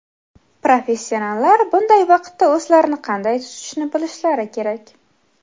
Professionallar bunday vaqtda o‘zlarini qanday tutishni bilishlari kerak.